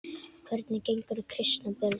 Hvernig gengur að kristna börnin?